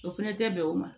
O fɛnɛ tɛ bɛn o ma